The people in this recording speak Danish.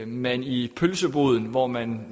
man i pølseboden hvor man